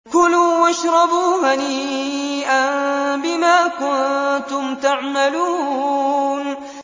كُلُوا وَاشْرَبُوا هَنِيئًا بِمَا كُنتُمْ تَعْمَلُونَ